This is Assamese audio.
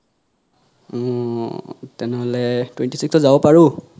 উম তেনেহলে twenty six ত যাব পাৰু